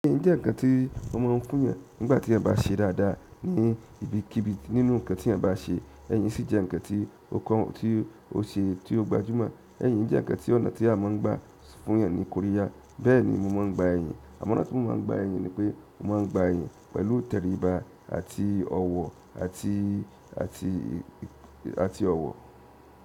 Èyí jẹ́ ǹkan tí ó wọ́n máa ń kún èèyàn nígbàtí ènìyàn bá ṣe dáadáa ní ibikíbi nínú ǹkan tí èèyàn bá ṣe. Ẹyìn sì jẹ́ ǹkan tí ó common tí ó ṣe tí ó gbajúmọ̀. Ẹyìn jẹ́ ǹkan tí ọ̀nà tí a máa ń gbà fún èèyàn ní Korea. Bẹ́ẹ̀ni mo máa ń gba ẹyìn. Àmọ́ ọ̀nà tí mo máa ń gba ẹyìn ni pé mo máa ń gba ẹyìn pẹ̀lú ìtẹríba àti ọ̀wọ̀ àti àti àti ọ̀wọ̀.